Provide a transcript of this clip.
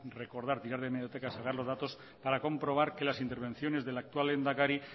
recordar tirar de hemerotecas o sacar los datos para comprobar que las intervenciones del actual lehendakari